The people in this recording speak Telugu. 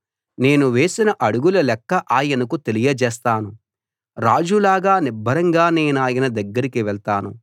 నేను వేసిన అడుగుల లెక్క ఆయనకు తెలియజేస్తాను రాజు లాగా నిబ్బరంగా నేనాయన దగ్గరికి వెళ్తాను